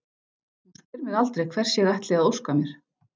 Hún spyr mig aldrei hvers ég ætli að óska mér.